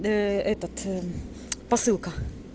этот посылка